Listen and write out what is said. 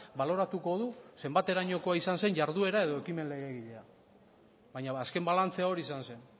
baloratuko du zenbaterainokoa izan zen jarduera edo ekimen legegilea baina azken balantzea hori izan zen